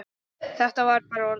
Þetta var bara orðið gott.